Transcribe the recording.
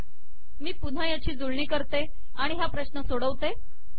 मी याची पुन्हा जुळणी करते आणि हा प्रश्न सोडवते